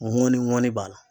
Ŋɔni ŋɔni b'a la